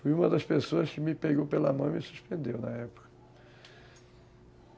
Foi uma das pessoas que me pegou pela mão e me suspendeu na época.